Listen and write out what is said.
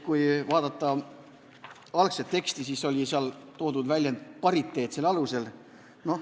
Kui vaadata algset teksti, siis oli seal toodud väljend "pariteetsuse printsiibi alusel".